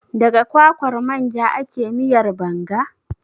Daga kwakwar manja ake miyar Banga?